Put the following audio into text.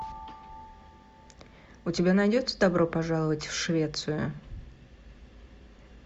у тебя найдется добро пожаловать в швецию